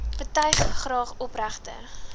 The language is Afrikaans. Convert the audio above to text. betuig graag opregte